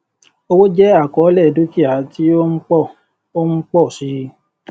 owó jẹ àkọọlẹ dúkìá tí ó ń pọ ó ń pọ sí i